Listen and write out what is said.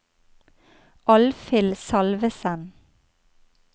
Alfhild Salvesen